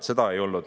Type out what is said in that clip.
Seda ei olnud.